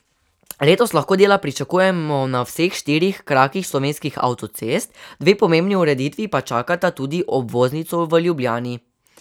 Letos lahko dela pričakujemo na vseh štirih krakih slovenskih avtocest, dve pomembni ureditvi pa čakata tudi obvoznico v Ljubljani.